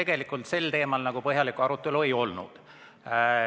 Komisjonis sel teemal põhjalikku arutelu ei olnud.